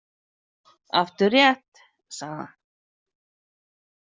Aftur rétt, sagði hann.